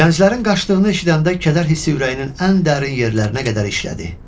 Gənclərin qaçdığını eşidəndə kədər hissi ürəyinin ən dərin yerlərinə qədər işlədi.